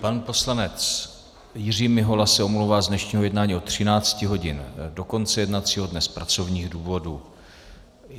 Pan poslanec Jiří Mihola se omlouvá z dnešního jednání od 13 hodin do konce jednacího dne z pracovních důvodů.